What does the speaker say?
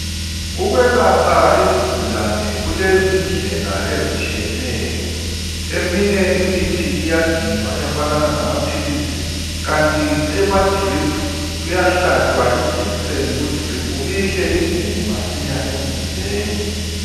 Ukwelapha izigulane kulezindlela ezitshiyeneyo. Eminye imithi iyaginywa efananana lamaphilisi kanti emadrip kuyahlatshwa ijekiseni kudrip ihle ingene masinya emzimbeni